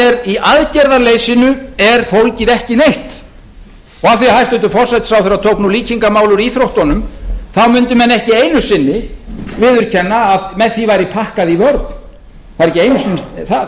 notað í aðgerðaleysinu er fólgið ekki neitt og af því að hæstvirtur forsætisráðherra tók nú líkingamál úr íþróttunum þá mundu menn ekki einu sinni viðurkenna að með því væri pakkað í vörn það er ekki einu sinni það það